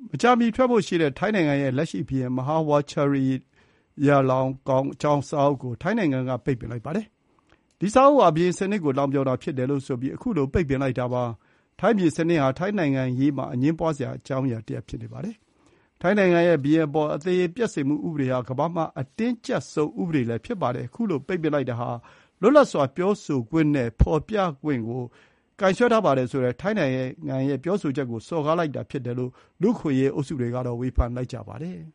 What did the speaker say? မကြာမီထွက်ဖို့ ရှိတဲ့ ထိုင်း နိုင်ငံ ရဲ့ လက်ရှိဘုရင် Maha Vajiralongkorn အကြောင်း စာအုပ်ကို ထိုင်းနိုင်ငံက ပိတ်ပင်လိုက်ပါတယ်။ ဒီစာအုပ်ဟာ ဘုရင်စနစ်ကို လှောင်ပြောင်တာဖြစ်တယ်လို့ဆိုပြီး ခုလို ပိတ်ပင်လိုက်တာပါ။ ထိုင်းဘုရင်စနစ်ဟာ ထိုင်းနိုင်ငံရေးမှာ အငြင်းပွါးစရာ အကြောင်းအရာတရပ် ဖြစ်နေပါတယ်။ ထိုင်းနိုင်ငံက 'ဘုရင့်အပေါ်အသရေ ပျက်စေမှုဥပဒေ' ဟာ ကမ္ဘာမှာ အတင်းကျပ်ဆုံး ဥပဒေလည်းဖြစ်ပါတယ်။ ခုလို ပိတ်ပင်လိုက်တာဟာ လွတ်လပ်စွာပြောဆိုခွင့်နဲ့ ဖော်ပြခွင့်ကို ကိုင်စွဲထားပါတယ်ဆိုတဲ့ ထိုင်းနိုင်ငံရဲ့ပြောဆိုချက်ကို စော်ကားလိုက်တာဖြစ်တယ်လို့ လူ့အခွင့်အရေးအုပ်စုတွေကတော့ ဝေဖန်လိုက်ကြပါတယ်။